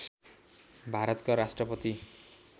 भारतका राष्ट्रपति